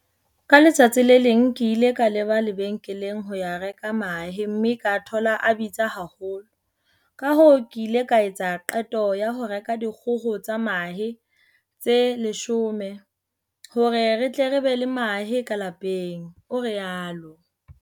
"Ka letsatsi le leng ke ile ka leba lebenkeleng ho ya reka mahe mme ka thola a bitsa haholo, kahoo ke ile ka etsa qeto ya ho reka dikgoho tsa mahe tse 10 hore re tle re be le mahe ka lapeng," o rialo.